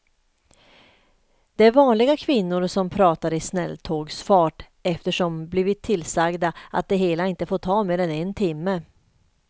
Det är vanliga kvinnor som pratar i snälltågsfart eftersom de blivit tillsagda att det hela inte får ta mer än en timme.